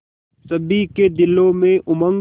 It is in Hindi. सभी के दिलों में उमंग